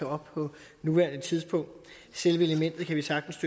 op på nuværende tidspunkt selve elementet kan vi sagtens